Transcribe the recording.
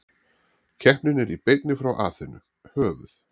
Keppnin er í beinni frá Aþenu, höfuð